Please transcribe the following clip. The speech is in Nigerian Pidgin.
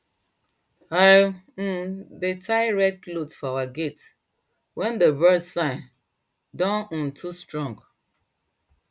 i um de tie red cloth for our gate wen dey birds signs don um too strong